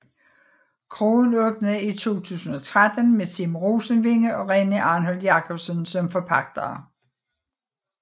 Kroen åbnede i 2013 med Tim Rosenvinge og René Arnholt Jacobsen som forpagtere